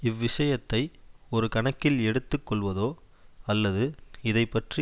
இவ் விஷயத்தை ஒரு கணக்கில் எடுத்து கொள்வதோ அல்லது இதை பற்றி